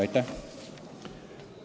Aitäh!